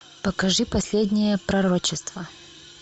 покажи последнее пророчество